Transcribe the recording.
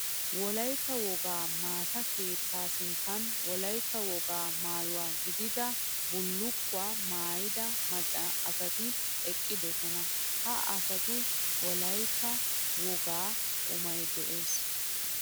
Wolaytta wogaa maata keetta sinttan wolaytta wogaa maayo gididda bullukkuwa maayidda maca asatti eqqiddosonna. Ha asattu wolaytta wogaa qumay de'ees.